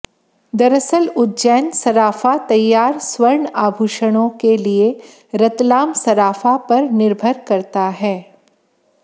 दरअसल उज्जैन सराफा तैयार स्वर्ण आभूषणों के लिए रतलाम सराफा पर निर्भर करता है